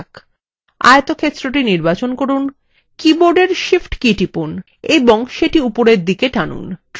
আয়তক্ষেত্রটি নির্বাচন করুন কীবোর্ডের shift key টিপুন এবং সেটি উপরের দিকে টানুন